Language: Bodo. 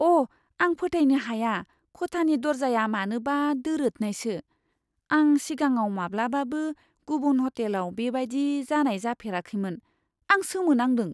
अ', आं फोथायनो हाया खथानि दर्जाया मानोबा दोरोदनायसो! आं सिगाङाव माब्लाबाबो गुबुन हटेलाव बेबायदि जानाय मोनफेराखैमोन। आं सोमो नांदों!